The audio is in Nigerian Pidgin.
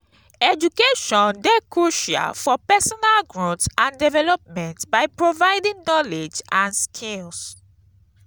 education dey crucial for personal growth and development by providing knowledge and skills.